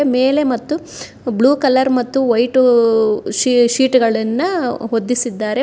ಮೇಲೆ ಮತ್ತು blue colour ಮತ್ತು ವೈಟೂ ಶೀ ಶೀಟ್ಗಳನ್ನ ಹೊದ್ದಿಸಿದ್ದಾರೆ.